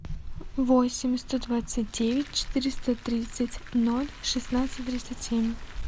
восемь сто двадцать девять четыреста тридцать ноль шестнадцать тридцать семь